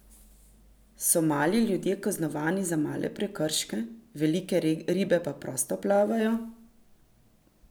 So mali ljudje kaznovani za male prekrške, velike ribe pa prosto plavajo?